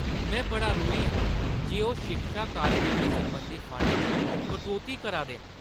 में बड़ा रोहें आं जे ओह् शिक्षा कार्यक्रमें सरबंधी फंडै च कटौती करा दे न।